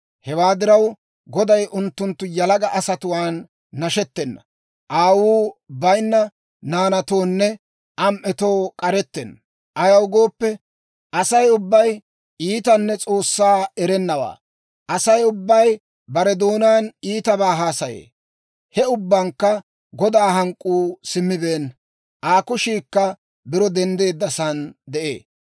Hewaa diraw, Goday unttunttu yalaga asatuwaan nashettena; aawuu bayinna naanatoonne am"etoo k'arettenna. Ayaw gooppe, Asay ubbay iitanne S'oossaa erennawaa; Asay ubbay bare doonaan iitabaa haasaye. He ubbankka Godaa hank'k'uu simmibeenna; Aa kushiikka biro denddeeddasaan de'ee.